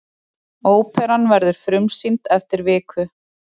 Óperan verður frumsýnd eftir viku.